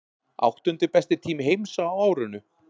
Áttundi besti tími heims á árinu